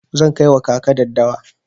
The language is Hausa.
Zan kai wa kaka daddawa.